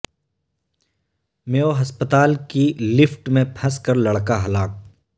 میو ہسپتال کی لفٹ میں پھنس کر لڑکا ہلاک